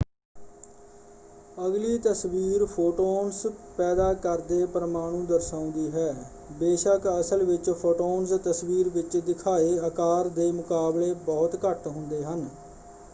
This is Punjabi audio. ਅਗਲੀ ਤਸਵੀਰ ਫੋਟੋਨਸ ਪੈਦਾ ਕਰਦੇ ਪ੍ਰਮਾਣੂ ਦਰਸਾਉਂਦੀ ਹੈ। ਬੇਸ਼ੱਕ ਅਸਲ ਵਿੱਚ ਫੋਟੋਨਸ ਤਸਵੀਰ ਵਿੱਚ ਦਿਖਾਏ ਆਕਾਰ ਦੇ ਮੁਕਾਬਲੇ ਬਹੁਤ ਘੱਟ ਹੁੰਦੇ ਹਨ।